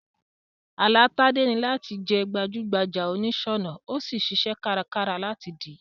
Àlá Tádé ni làti di gbajú gbajà onìsònà, o sí n siṣẹ́ kárakára láti dìí